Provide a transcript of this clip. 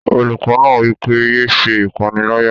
Olùkọ́ náà wí pé, "yé se ìpánìyálà